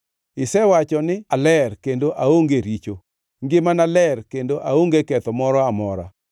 Isewacho ni, ‘Aler kendo aonge richo; ngimana ler kendo aonge ketho moro amora.